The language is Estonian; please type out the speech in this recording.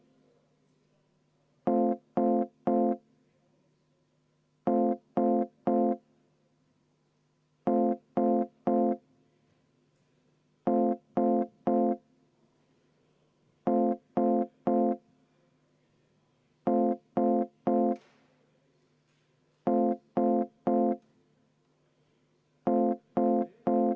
Muudatusettepanek nr 3, esitaja keskkonnakomisjon, juhtivkomisjon on arvestanud täielikult.